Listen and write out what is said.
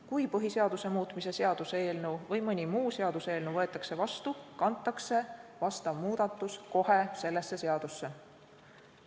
Kui põhiseaduse muutmise seaduse eelnõu või mõni muu seaduseelnõu võetakse vastu, kantakse vastav muudatus kohe sellesse seadusesse.